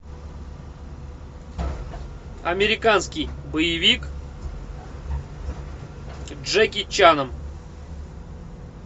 американский боевик с джеки чаном